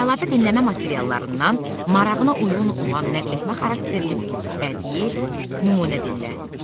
Əlavə dinləmə materiallarından marağına uyğun olan nəqletmə xarakterli bədii nümunə dinlə.